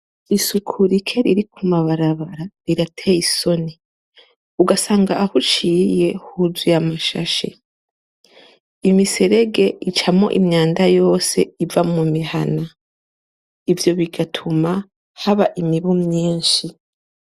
Isuku rike riri ku mabarabara rirateye isoni ugasanga aho uciye huzuye amashashi imiserege icamwo imyanda yose iva mu mihana ivyo bigatuma haba imibu myishi.